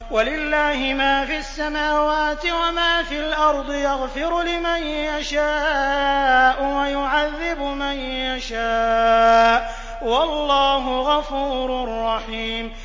وَلِلَّهِ مَا فِي السَّمَاوَاتِ وَمَا فِي الْأَرْضِ ۚ يَغْفِرُ لِمَن يَشَاءُ وَيُعَذِّبُ مَن يَشَاءُ ۚ وَاللَّهُ غَفُورٌ رَّحِيمٌ